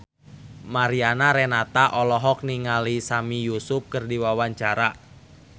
Mariana Renata olohok ningali Sami Yusuf keur diwawancara